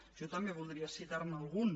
jo també voldria citar ne algun